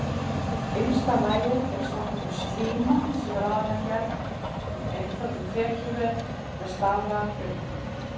Innsta lagið er svokölluð slíma sem er aðallega gerð úr einföldum þekjuvef með staflaga frumum.